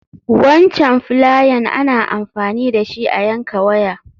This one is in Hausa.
Wancan filayen ana amfani dashi a yanka waya.